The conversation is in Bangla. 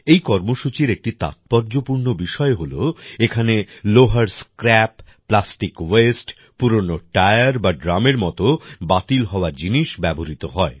এই কর্মসূচির একটি তাৎপর্যপূর্ণ বিষয় হলো এখানে লোহার স্ক্র্যাপ প্লাস্টিক ওয়েস্ট পুরানো টায়ার বা ড্রামের মত বাতিল হওয়া জিনিস ব্যবহৃত হয়